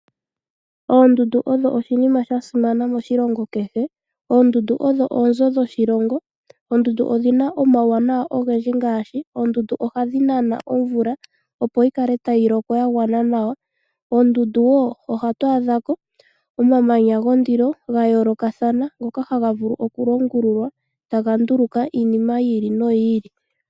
Oondundu odho oshinima shasimana moshilongo kehe. Oondundu odho oonzo dhoshilongo odhina omawuwanawa ogendji ngaashi ohadhi nana omvula opo yikale tayi loko yagwana nawa. Koondundu ohatu adha ko omamanya gondilo gayoolokathana ngoka haga vulu okulongululwa taga nduluka iinima yi ili noyi ili.